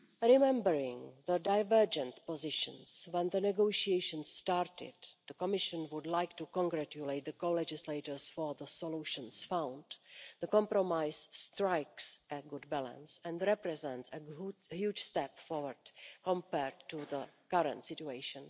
Remembering the divergent positions when the negotiations started, the Commission would like to congratulate the co legislators on the solutions found. The compromise strikes a good balance and represents a huge step forward compared with the current situation.